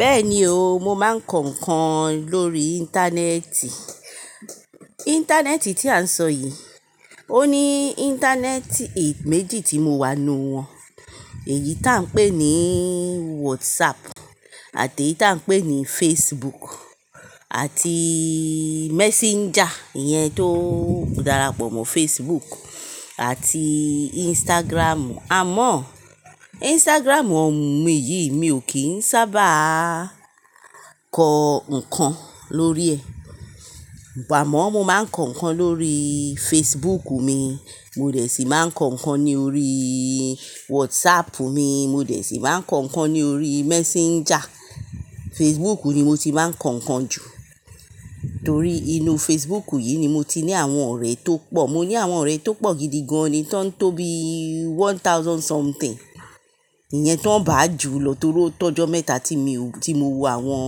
Bẹ́ẹ̀ni o, mo máa ń kọ ǹkan lórí Íńtánẹ́ẹ̀tì. Íńtánẹ́ẹ̀tì tí a ń sọ yìí, ó ní Íńtánẹ́ẹ̀tì méjì tí mo wá nu wọn, èyí tí à ń pè ní WhatsApp àti èyí tí à ń pè ní Facebook àti Messenger yẹn tó darapọ̀ mọ́ Facebook àti Instagram. Àmọ́ Instagram ọ̀mù mi yìí mi ò kí ń sábà kọ ǹkan lórí ẹ̀. Ìgbà mo máa ń kọ ǹkan lórí Facebook mi, mo dẹ̀ sì máa ń kọ ǹkan ní orí WhatsApp mi, mo dẹ̀ sì máa ń kọ ǹkan ní orí Messenger. Facebook ni mo ti máa ń kọ ǹkan jù torí inú Facebook yìí ni mo ti ní àwọn ọ̀rẹ́ tó pọ̀. Mo ní àwọn ọ̀rẹ́ tó pọ̀ gidi gan ni tó ń tó bí one thousand something. Ìyẹn tó ń bà á jù lọ torí tọ́jọ́ mẹ́ta tí mi, tí mo wù àwọn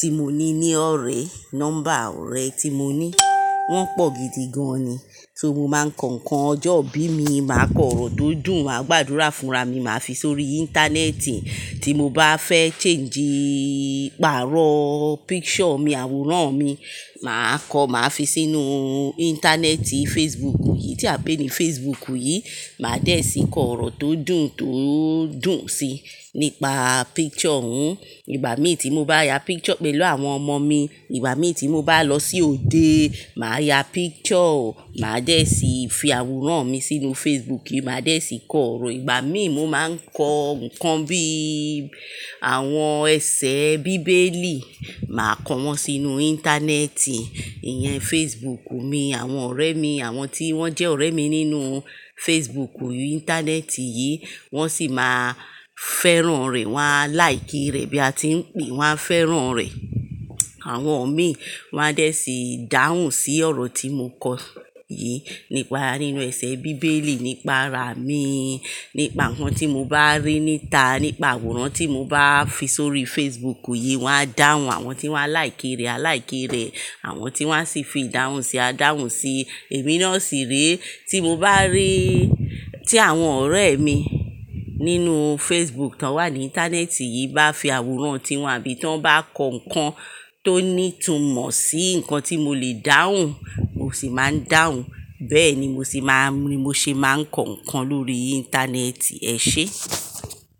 tí mo ní ní ọ̀rẹ́, nọ́mbà ọ̀rẹ́ tí mo ní. Wọ́n pọ̀ gidi gan ni. Tí mo máa ń kọ ǹkan ọjọ́ bí mi, màá kọ ọ̀rọ̀ tó dùn, maà gbàdúrà fúnra mi, màá fi sórí Íńtánẹ́ẹ̀tì. Tí mo bá fẹ́ change ìpààrọ̀ picture mi, àwòrán mi, màá kọ, màá fi sínú Íńtánẹ́ẹ̀tì Facebook yìí tí a ń pè ní Facebook yìí. Màá dẹ̀ sì kọ ọ̀rọ̀ tó dùn tó dùn síi nípa picture hun. Ìgbà mí tí mo bá ya picture pẹ̀lú àwọn ọmọ mi, ìgbà mí tí mo bá lọ sí òde, màá ya picture, màá dẹ̀ sì fi àwòrán mi sínú Facebook, màá dẹ̀ sì kọ ọ̀rọ̀. Ìgbà mí mo máa ń kọ ǹkan bí àwọn ẹsẹ bíbélì, màá kọ wọ́n sínú Íńtánẹ́ẹ̀tì, ìyẹn Facebook mi. Àwọn ọ̀rẹ́ mi, àwọn tí wọ́n jẹ́ ọ̀rẹ́ mi nínú Facebook, Íńtánẹ́ẹ̀tì yìí, wọ́n sì máa fẹ́ràn rẹ̀. Wọn á láìkì rẹ̀ bí a ti ń pè é, wọ́n á fẹ́ràn rẹ̀. Àwọn mi wọ́n á dẹ̀ sì dáhùn sí ọ̀rọ̀ tí mo kọ yìí nípa nínú ẹsẹ bíbélì, nípa rà mí, nípa ǹkan tí mo bá rí níta, nípa àwòrán tí mo bá fi sórí Facebook yìí, wọ́n á dáhùn. Àwọn tí wọ́n á láìkì rẹ̀, à láìkì rẹ̀. Àwọn tí wọ́n á sì fi dáhùn sì á dáhùn sí i. Èmi náà sì ré tí mo bá rí tí àwọn ọ̀rẹ́ mi nínú Facebook tó wà ní Íńtánẹ́ẹ̀tì yìí bá fi àwòrán tiwọn àbí tí wọ́n bá kọ ǹkan tó ní ìtumọ̀ sí ǹkan tí mo lè dáhùn, mo sì máa ń dáhùn. Bẹ́ẹ̀ ni mo sì máa ń, mo sì máa ń kọ ǹkan lórí Íńtánẹ́ẹ̀tì ẹ ṣé.